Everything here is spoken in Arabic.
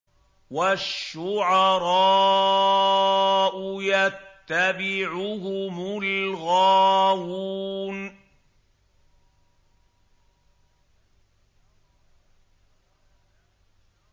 وَالشُّعَرَاءُ يَتَّبِعُهُمُ الْغَاوُونَ